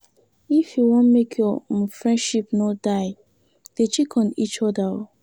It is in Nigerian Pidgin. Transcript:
If you want make your um friendship no die, dey check on eachother.